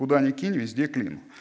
куда ни кинь везде клин